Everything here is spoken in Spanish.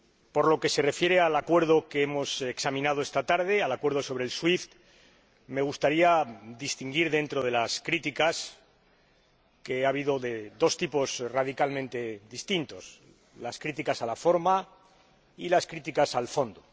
Por lo que se refiere al Acuerdo que hemos examinado esta tarde, al Acuerdo sobre SWIFT, me gustaría hacer una distinción entre las críticas, que han sido de dos tipos radicalmente distintos críticas a la forma y críticas al fondo.